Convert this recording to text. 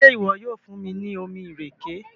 ṣe iwọ yoo fun mi ni omí ìrèké?